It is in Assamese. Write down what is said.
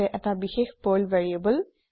হৈছে এটা বিশেষ পাৰ্ল ভেৰিয়েবল